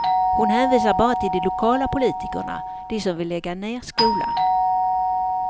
Hon hänvisar bara till de lokala politikerna, de som vill lägga ned skolan.